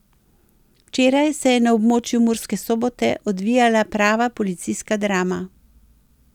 Včeraj se je na območju Murske Sobote odvijala prava policijska drama.